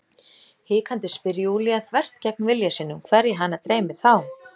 Hikandi spyr Júlía, þvert gegn vilja sínum, hverja hana dreymi þá?